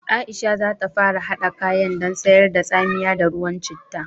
Aisha za ta fara haɗa kayan dan sayar da tsamiya da ruwan citta